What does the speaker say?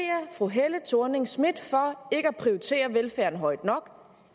fru helle thorning schmidt for ikke at prioritere velfærden højt nok